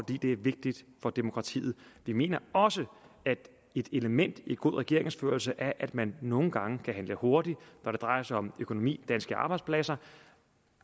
det er vigtigt for demokratiet vi mener også at et element i god regeringsførelse er at man nogle gange kan handle hurtigt når det drejer sig om økonomi danske arbejdspladser